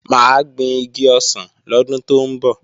Mà á gbin igi ọsàn lọ́dún tó ń bọ̀